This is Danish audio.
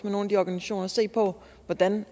nogle af de organisationer og se på hvordan